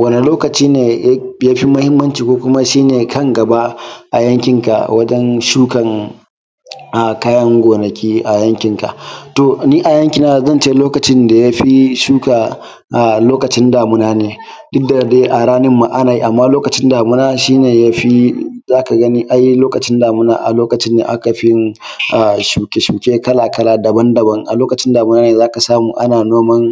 Wani lokaci ne ya fi muhimmanci ko kuma shi ne kan gaba a yankinka. To yanki na zan ce lokacin da ya fi lokaci damuna ne duk da dai a ramin ma ana yi amma lokacin damuna shi ne ya fi za ka gani a Lokacin damuna aka yi fi yin shuke-shuke daban-daban a lokacin za ka samu ana noma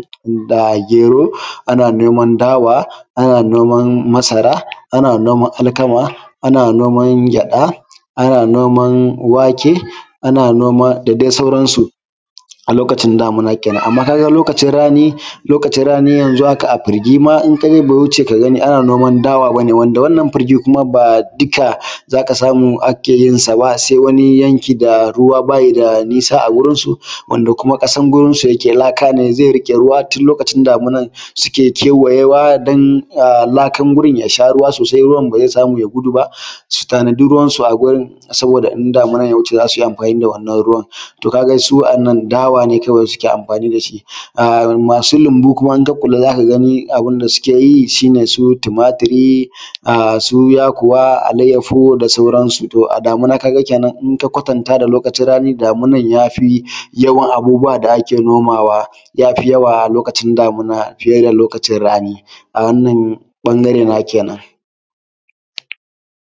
gero, ana noman dawa ana noman masara ana noma alkama ana noman gyaɗa ana noman wake da sauransu a lokacin damuna kenan. Amma ka ga a lokacin rani in ka je a furgi bai wuce ka ga ana noma dawa ba. Wanda wannan furgi kuma ba duka za ka samu ake yinsa ba sai wani yanki wanda ruwa ba yi da nisa a da su, kuma kasar gonansu laka ne zai rike ruwa tun lokacin damuwa suke kewaye wa don laka gurin ya ya sha ruwa sosai ruwan ba zai samu ya gudu ba, su tanadi ruwansu wurin yadda in damuwa ya wuce za su iya ganin ruwan. To ka ga shi a nan dawa ne kawai suke amfani da shi. Masu lambu kuma za ka gani su abun da suke yi shi ne su tumaturi su yakuwa, allayyahu da sauransu in ka kwatanta a damuna da lokacin rani, za ka ga damuwan ya fi yawan abubuwa da ake nomawa ya fi a lokacin damuna da lokacin rani. A ɓangare na kenan